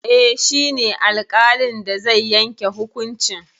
Eh, shi ne alƙalin da zai yanke hukuncin.